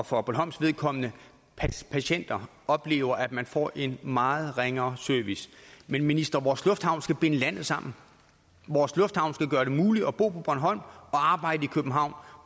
og for bornholms vedkommende patienter oplever at man får en meget ringere service men minister vores lufthavn skal binde landet sammen vores lufthavn skal gøre det muligt at bo på bornholm og arbejde i københavn